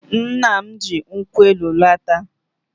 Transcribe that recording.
Nna m ji nkwụ elu lọta.